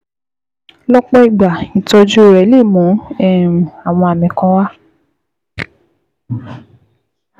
Lọ́pọ̀ ìgbà, ìtọ́jú rẹ̀ lè mú um àwọn àmì kan wá